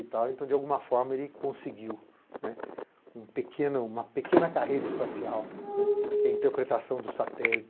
e tal. Então, de alguma forma, ele conseguiu né, um pequeno uma pequena carreira espacial, né, que é a interpretação dos satélites.